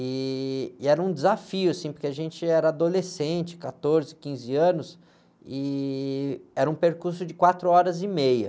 E, e era um desafio, porque a gente era adolescente, quatorze, quinze anos, e era um percurso de quatro horas e meia.